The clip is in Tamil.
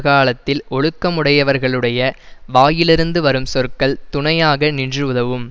காலத்தில் ஒழுக்கமுடையவர்களுடைய வாயிலிருந்து வரும் சொற்கள் துணையாக நின்று உதவும்